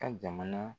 Ka jamana